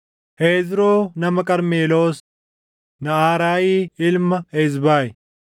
Hezroo nama Qarmeloos, Naʼaraayi ilma Ezbayi,